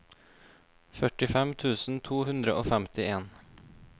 førtifem tusen to hundre og femtien